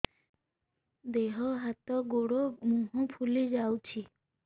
ଦେହ ହାତ ଗୋଡୋ ମୁହଁ ଫୁଲି ଯାଉଛି